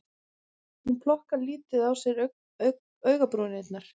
Hún plokkar lítið á sér augabrúnirnar